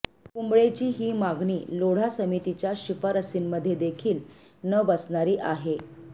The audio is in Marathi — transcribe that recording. कुंबळेंची ही मागणी लोढा समितीच्या शिफारशीमध्ये देखील न बसणारी आहे